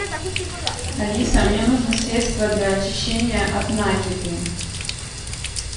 алиса мне нужно средство для очищения от накипи